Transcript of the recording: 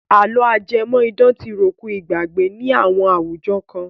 Àlọ́ ajẹ́mọ̀-idán ti ròkun ìgbàgbé ní àwọn àwùjọ kan.